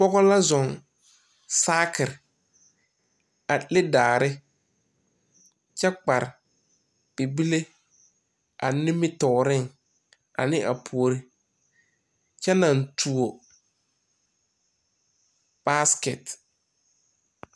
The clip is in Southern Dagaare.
Pɔgɔ la zɔŋ saakir a le daare kyɛ kpar bibile a nimitooreŋ ane a poore. Kyɛ na tuo baaskɛt